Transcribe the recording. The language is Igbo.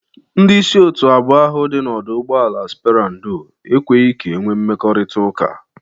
Ndị isi otu abụọ ahụ dị n'ọdụ ụgbọala spera ndo ekweghi ka enwe mkpakọrịtaụka.